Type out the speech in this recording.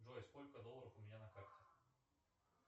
джой сколько долларов у меня на карте